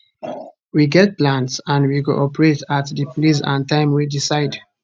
we get plans and we go operate at di place and time we decide